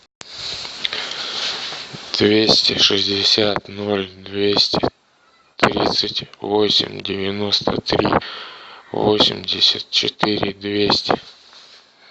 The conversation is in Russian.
двести шестьдесят ноль двести тридцать восемь девяносто три восемьдесят четыре двести